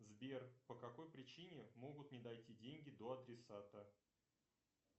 сбер по какой причине могут не дойти деньги до адресата